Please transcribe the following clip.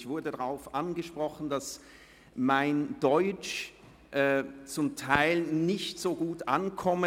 Ich wurde darauf angesprochen, dass mein Deutsch nicht so gut ankomme;